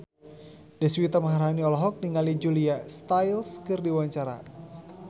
Deswita Maharani olohok ningali Julia Stiles keur diwawancara